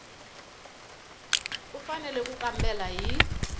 u fanele ku kambela hi